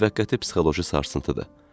Müvəqqəti psixoloji sarsıntıdır.